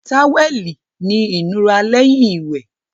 Táwẹ́ẹ̀lì ni ìnura lẹ́yìn wẹ̀